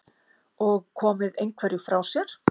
Og komið einhverju frá sér?